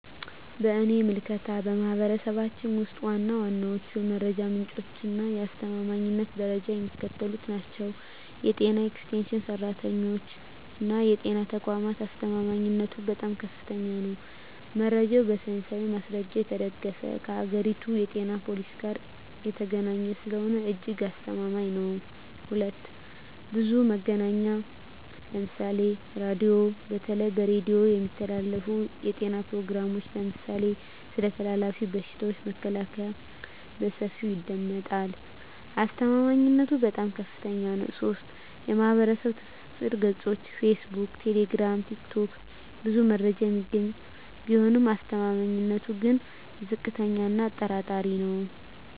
በእኔ ምልከታ፣ በማኅበረሰባችን ውስጥ ዋና ዋናዎቹ የመረጃ ምንጮችና የአስተማማኝነት ደረጃቸው የሚከተሉት ናቸው፦ 1. የጤና ኤክስቴንሽን ሠራተኞችና የጤና ተቋማት አስተማማኝነቱም በጣም ከፍተኛ ነው። መረጃው በሳይንሳዊ ማስረጃ የተደገፈና ከአገሪቱ የጤና ፖሊሲ ጋር የተገናኘ ስለሆነ እጅግ አስተማማኝ ነው። 2. ብዙኃን መገናኛ ምሳሌ ራዲዮ:- በተለይ በሬዲዮ የሚተላለፉ የጤና ፕሮግራሞች (ለምሳሌ ስለ ተላላፊ በሽታዎች መከላከያ) በሰፊው ይደመጣሉ። አስተማማኝነቱም በጣም ከፍታኛ ነው። 3. ማኅበራዊ ትስስር ገጾች (ፌስቡክ፣ ቴሌግራም፣ ቲክቶክ) ብዙ መረጃ የሚገኝ ቢሆንም አስተማማኝነቱ ግን ዝቅተኛ እና አጠራጣሪ ነው።